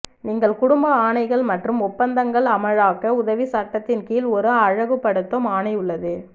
நீங்கள் குடும்ப ஆணைகள் மற்றும் ஒப்பந்தங்கள் அமலாக்க உதவி சட்டத்தின் கீழ் ஒரு அழகுபடுத்தும் ஆணை உள்ளது